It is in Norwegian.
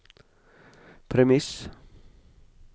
premiss